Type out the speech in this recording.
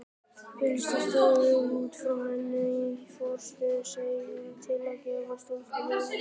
Pilsið stóð út frá henni í frosinni sveiflu til að gefa stúlkunni ímyndaða hreyfingu.